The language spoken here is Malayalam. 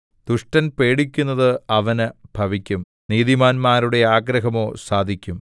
ദുഷ്ടൻ പേടിക്കുന്നത് അവന് ഭവിക്കും നീതിമാന്മാരുടെ ആഗ്രഹമോ സാധിക്കും